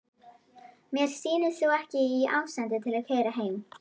Mér sýnist þú ekki í ástandi til að keyra heim.